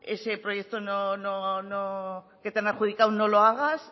ese proyecto que te han adjudicado no lo hagas